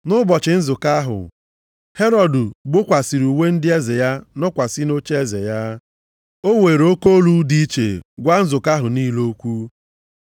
Nʼụbọchị nzukọ ahụ, Herọd gbokwasịrị uwe ndị eze ya nọkwasị nʼocheeze ya. O weere oke olu dị iche gwa nzukọ ahụ niile okwu.